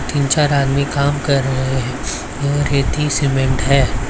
तीन चार आदमी काम कर रहे हैं यह रेती सीमेंट है ।